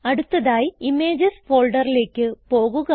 അടുത്തതായി ഇമേജസ് ഫോൾഡറിലേക്ക് പോകുക